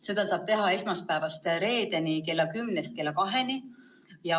Seda saab teha esmaspäevast reedeni kella kümnest kella kaheni.